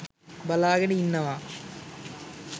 බලාගෙන ඉන්නවා